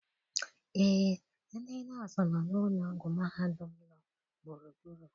Eé, ndị nọọsụ nọ n' ụlọ ọgwụ mahadum nọ gburugburu.